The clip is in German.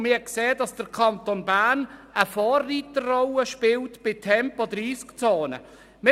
Man hat gesehen, dass der Kanton Bern eine Vorreiterrolle bei Tempo-30-Zonen spielt.